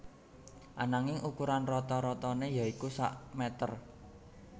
Ananging ukuran rata ratané yaitu sak mèter